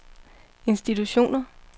institutioner